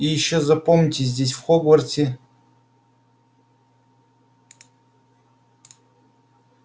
и ещё запомните здесь в хогвартсе